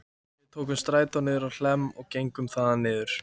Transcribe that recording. Við tókum strætó niður á Hlemm og gengum þaðan niður